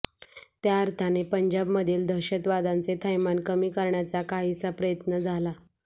त्या अर्थाने पंजाबमधील दहशतवादाचे थैमान कमी करण्याचा काहीसा प्रयत्न झाला